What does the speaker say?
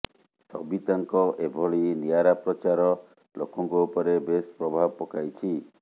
ସବିତାଙ୍କ ଏଭଳି ନିଆରା ପ୍ରଚାର ଲୋକଙ୍କ ଉପରେ ବେଶ ପ୍ରଭାବ ପକାଇଛି